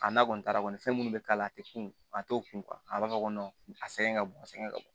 A n'a kɔni taara kɔni fɛn mun be k'a la a te kun a te kun a b'a fɔ ko a sɛgɛn ka bon a sɛgɛn ka bon